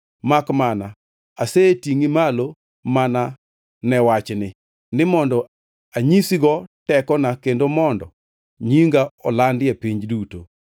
Makmana asetingʼi malo mana ne wachni, ni mondo anyisigo tekona kendo mondo nyinga olandi e piny duto.